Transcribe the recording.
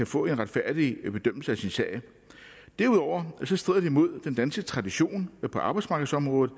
få en retfærdig bedømmelse af sin sag derudover strider det imod den danske tradition på arbejdsmarkedsområdet